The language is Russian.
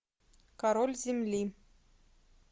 король земли